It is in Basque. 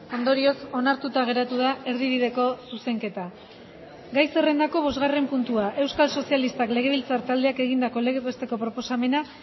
ondorioz onartuta geratu da erdibideko zuzenketa gai zerrendako bosgarren puntua euskal sozialistak legebiltzar taldeak egindako legez besteko proposamena